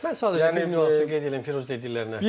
Mən sadəcə bir nüansı qeyd edim, Firuz dediklərinə.